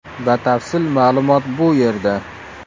Batafsil ma’lumot bu yerda .